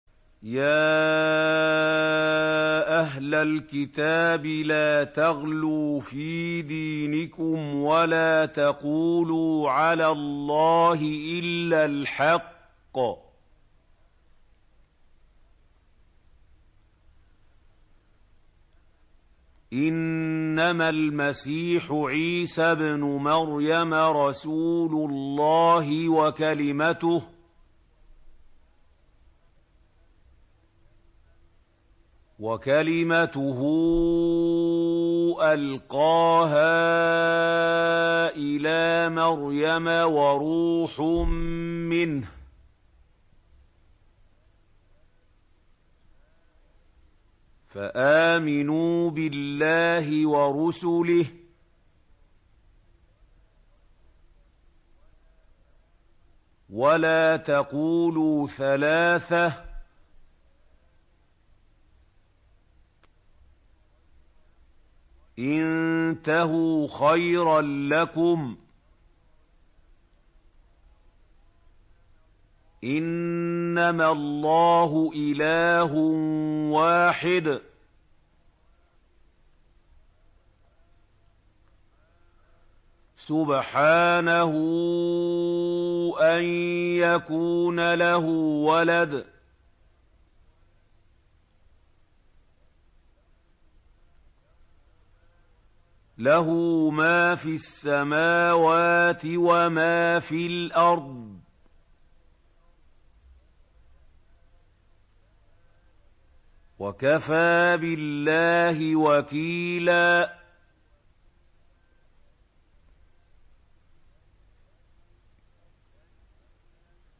يَا أَهْلَ الْكِتَابِ لَا تَغْلُوا فِي دِينِكُمْ وَلَا تَقُولُوا عَلَى اللَّهِ إِلَّا الْحَقَّ ۚ إِنَّمَا الْمَسِيحُ عِيسَى ابْنُ مَرْيَمَ رَسُولُ اللَّهِ وَكَلِمَتُهُ أَلْقَاهَا إِلَىٰ مَرْيَمَ وَرُوحٌ مِّنْهُ ۖ فَآمِنُوا بِاللَّهِ وَرُسُلِهِ ۖ وَلَا تَقُولُوا ثَلَاثَةٌ ۚ انتَهُوا خَيْرًا لَّكُمْ ۚ إِنَّمَا اللَّهُ إِلَٰهٌ وَاحِدٌ ۖ سُبْحَانَهُ أَن يَكُونَ لَهُ وَلَدٌ ۘ لَّهُ مَا فِي السَّمَاوَاتِ وَمَا فِي الْأَرْضِ ۗ وَكَفَىٰ بِاللَّهِ وَكِيلًا